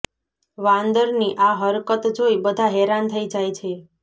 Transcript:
વાંદરની આ હરકત જોઈ બધા હેરાન થઇ જાય છે